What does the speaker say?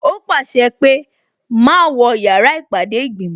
Ó pàṣẹ pé "má wọ yàrá ìpàdé ìgbìmò"